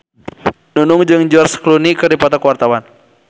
Nunung jeung George Clooney keur dipoto ku wartawan